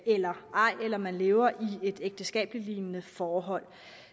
eller ej eller om man lever i et ægteskabslignende forhold